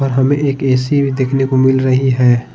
और हमें एक ऐ_सी भी देखने को मिल रही है।